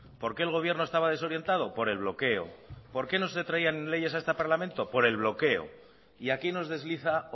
por qué el gobierno estaba desorientado por el bloqueo por qué no se traían leyes a este parlamento por el bloqueo y aquí nos desliza